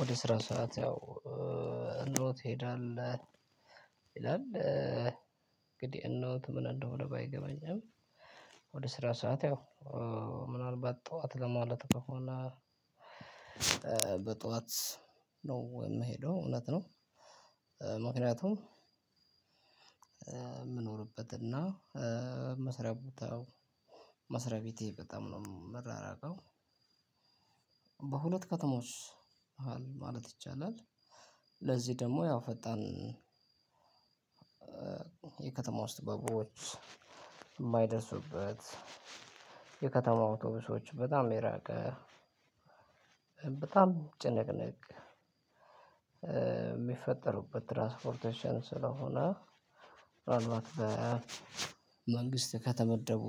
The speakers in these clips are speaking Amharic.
ወደ ስራ ሰዓት ያው እነሆት ትሄዳለህ ይላል እንግዲህ እነሆት ምን እንደሆነ ባይገባኝ አሁን ወደ ስራ ሰዓት ያው ምናልባት ጠዋት ለማለት ከሆነ በጠዋት ነው የምሄደው እውነት ነው። ምክንያቱም እ ምኖርበትና መስሪያ ቦታው ቤቴ በጣም ነው ምራራቀው በሁለት ከተሞች መሐልማለት ይቻላል። ለዚህ ደግሞ ያው ፈጣን የከተማው እስትበቦች ማይደርሱበት የከተማው አውቶቡሶች በጣም የራቀ በጣም ጭንቅንቅ ሚፈጠሩበት ትራስፖርቴሽን ስለሆነ። ምናልባት በመንግስት ከተመደቡ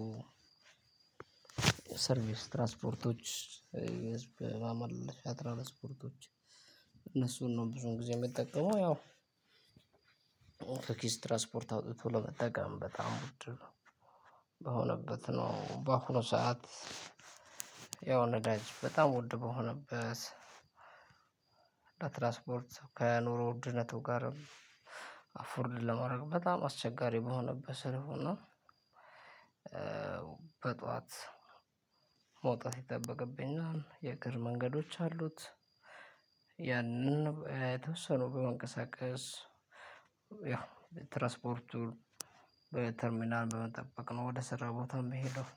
ሰርቪስ ትራስፖርቶች ህዝብ ማመላለሻ ትራስፖርቶች እነሱን ነው ብዙን ጊዜ የምትጠቀመው ያው። ከኪስ ትራስፖርት አውጥቶ ለመጠቀም በጣም ውድ ነው። በሆነበት ነው በአሁኑ ሰዓት ያው ነዳጅ በጣም ውድ በሆነበት ለትራስፖርት ከኑሮ ውድነቱ ጋርም አፎርድ ለማድረግ በጣም አስቸጋሪ በሆነበት ስለሆነ። በጧት መውጣት ይጠበቅብናል የእግር መንገዶች አሉት። ያንን ተወሰኖ በመንቀሳቀስ ያው በትራስፖርቱን በተርሚናል በመጠበቅ ነው ወደ ስራ ቦታ የምሄደው።